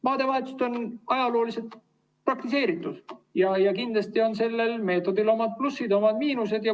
Maadevahetust on ajaloos praktiseeritud ja kindlasti on sellel meetodil omad plussid ja omad miinused.